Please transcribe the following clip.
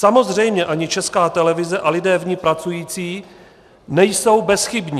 Samozřejmě ani Česká televize a lidé v ní pracující nejsou bezchybní.